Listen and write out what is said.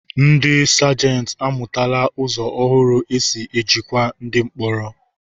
Ndi Sajenti amụtala ụzọ ọhụrụ e si ejikwa ndi mkpọrọ.